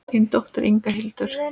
Þín dóttir, Inga Hildur.